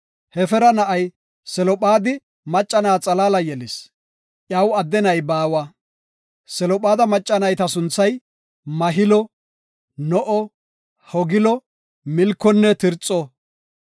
Hefeera na7ay Selophaadi macca na7a xalaala yelis; iyaw adde na7i baawa. Selophaada macca nayta sunthay Mahilo, No7o, Hoglo, Milkonne Tirxo.